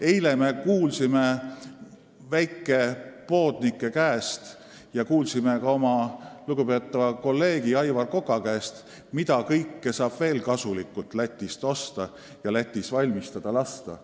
Eile me kuulsime väikepoodnike käest ja kuulsime ka oma lugupeetava kolleegi Aivar Koka käest, mida kõike saab veel kasulikult Lätist osta ja Lätis valmistada lasta.